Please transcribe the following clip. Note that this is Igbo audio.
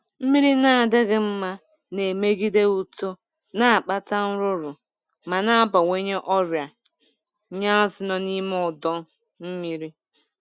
Mmiri na-adịghị mma na-emegide uto, na-akpata nrụrụ, ma na-abawanye ọrịa nye azu nọ n'ime ọdu mmiri